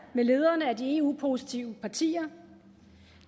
med lederne af de eu positive partier